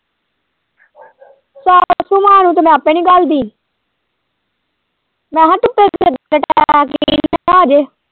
ਸਾਸੂਮਾਂ ਨੂੰ ਤੇ ਮੈਂ ਆਪੇ ਨੀ ਕੱਲਦੀ ਮੈਂ ਕਿਹਾ ਧੁੱਪੇ .